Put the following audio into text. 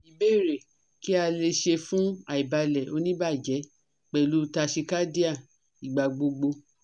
Ìbéèrè Kí a le ṣe fun aibalẹ onibaje pẹlu tachycardia igbagbogbo?